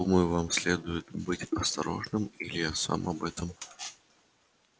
думаю вам следует быть осторожным дядя или я сам об этом